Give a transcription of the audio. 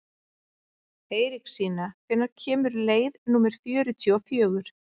Eiríksína, hvenær kemur leið númer fjörutíu og fjögur?